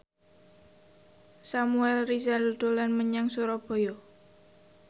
Samuel Rizal dolan menyang Surabaya